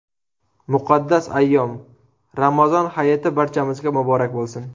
Muqaddas ayyom – Ramazon hayiti barchamizga muborak bo‘lsin!